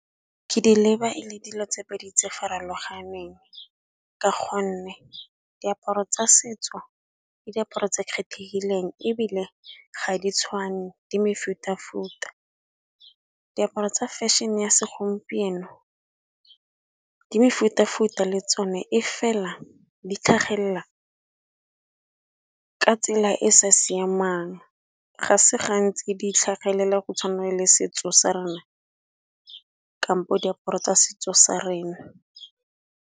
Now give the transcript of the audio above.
Ke di leba e le dilo tse pedi tse farologaneng ka gonne, diaparo tsa setso ke diaparo tse kgethegileng ebile ga di tshwane di mefuta-futa. Diaparo tsa fashion-e ya segompieno di mefuta-futa le tsone, e fela di tlhagelela ka tsela e sa siamang ga se gantsi di tlhagelela go tshwana le setso sa rena kampo diaparo tsa setso sa rena.